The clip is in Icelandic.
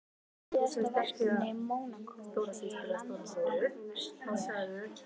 Síðasta verkefni Mónakó fyrir landsleikjahlé?